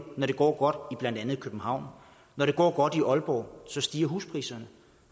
når det går godt i blandt andet københavn når det går godt i aalborg så stiger huspriserne